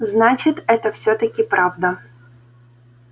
значит это всё-таки правда